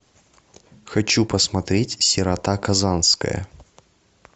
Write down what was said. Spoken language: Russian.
хочу посмотреть сирота казанская